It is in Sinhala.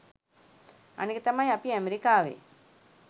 අනික තමයි අපි ඇමෙරිකාවේ